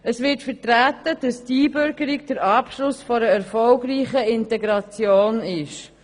Es wird vertreten, dass die Einbürgerung der Abschluss einer erfolgreichen Integration ist.